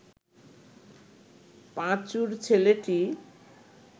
পাঁচুর ছেলেটি